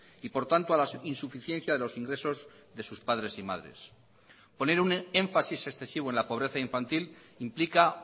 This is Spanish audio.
y por tanto a la insuficiencia de los ingresos de sus padres y madres poner un énfasis excesivo en la pobreza infantil implica